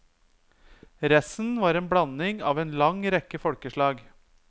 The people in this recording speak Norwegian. Resten var en blanding av en lang rekke folkeslag.